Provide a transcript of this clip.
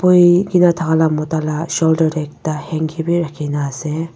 boikae na thakala mota la shoulder tae handki bi rakhinaase.